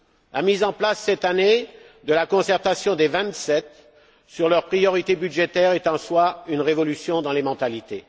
La mise en place cette année de la concertation des vingt sept sur leurs priorités budgétaires est en soi une révolution dans les mentalités.